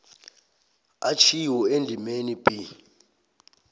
atjhiwo endimeni b